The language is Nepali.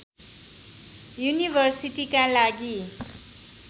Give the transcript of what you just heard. युनिभर्सिटीका लागि